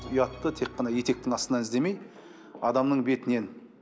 ұятты тек қана етектің астынан іздемей адамның бетінен